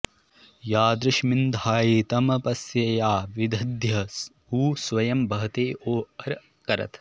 या॒दृश्मि॒न्धायि॒ तम॑प॒स्यया॑ विद॒द्य उ॑ स्व॒यं वह॑ते॒ सो अरं॑ करत्